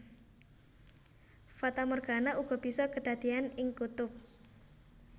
Fatamorgana uga bisa kadadéyan ing kutub